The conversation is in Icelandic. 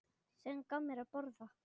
Sem gaf mér að borða.